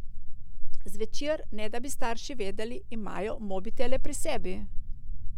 Zvečer, ne da bi starši vedeli, imajo mobitele pri sebi.